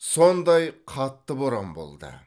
сондай қатты боран болды